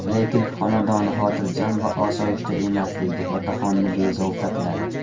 Lekin xonadoni xotirjam va osoyishta emasligi otaxonni bezovta qiladi.